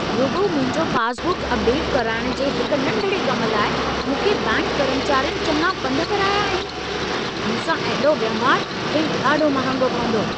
रुॻो मुंहिंजो पासबुक अपडेटु कराइण जे हिक नंढिड़े कम लाइ, मूंखे बैंकि कर्मचारियुनि चङा पंध कराया आहिनि। मूंसां अहिड़ो वहिंवारु, खेनि ॾाढो महांगो पवंदो।